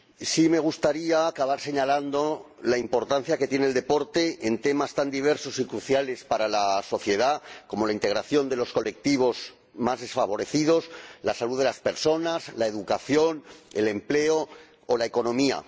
Sí me gustaría acabar señalando la importancia que tiene el deporte en temas tan diversos y cruciales para la sociedad como la integración de los colectivos más desfavorecidos, la salud de las personas, la educación, el empleo o la economía.